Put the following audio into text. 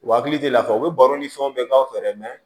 U hakili tɛ lafiya u bɛ baro ni fɛnw bɛɛ k'a fɛ dɛ